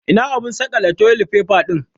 Ina abun saƙale toli faifa ɗin?